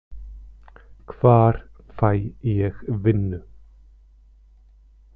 Hvar fæ ég vinnu?